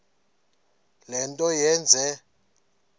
le nto yenze